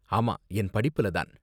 ஆமா, என் படிப்புல தான்.